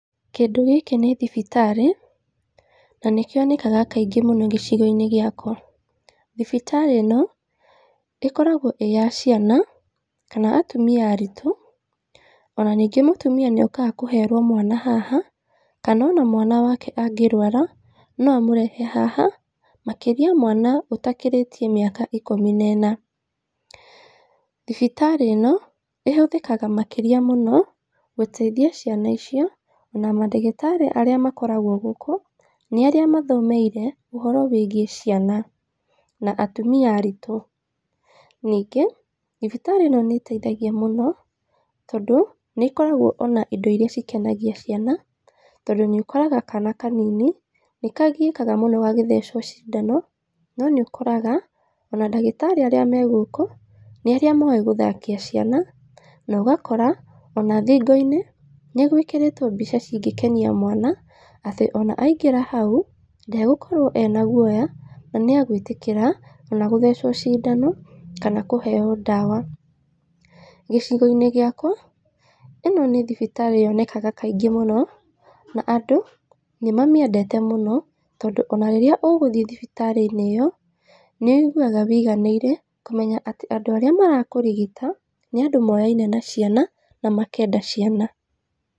Kĩndũ gĩkĩ nĩ thibitarĩ na nĩ kĩonekaga kaingĩ mũno gĩcigo-inĩ gĩakwa, thibitarĩ ĩno ĩkoragwo ĩyaciana, kana atumia aritũ, ona ningĩ mũtumia nĩ okaga kũherwo mwana haha, kana ona mwana wake angĩrwara no amũrehe haha makĩria mwana atakĩrĩtie mĩaka ikumi na ĩna, thibitarĩ ĩno ĩhũthĩkaga makĩria mũno gũteithia ciana icio na mandagĩtarĩ arĩa makoragwo gũkũ nĩ arĩa mathomeire ũhoro wĩgiĩ ciana, na atumia aritũ, ningĩ thibitarĩ ĩno nĩ ĩteithagia mũno tondũ nĩ ĩkoraga ona indo iria cikenagia ciana, tondũ nĩ ũkoraga kana kanini nĩ kagiakaga mũno gagĩothecwo cindano, no nĩ ũkoraga ona ndagĩtarĩ arĩa megũkũ, nĩarĩ moĩ gũthakia ciana, nogakora ona thingo-inĩ nĩ gwĩkĩrĩtwo mbica cingĩkenia mwana, atĩ ona aingĩra hau ndegũkorwo ena gwoya na nĩ egwĩtĩkĩra ona gũthecwo cindano, kana kũheyo ndawa, gĩcigo-inĩ gĩakwa ĩno nĩ thibitarĩ yonekaga kaingĩ mũno, na andũ nĩ mamĩendete mũno, tondũ ona rĩrĩa ũgthiĩ thibitarĩ-inĩ ĩyo, nĩ wĩiguwaga wĩiganĩire kũmenya atĩ andũ arĩa marakũrigita nĩandũ moyaine na ciana na makenda ciana.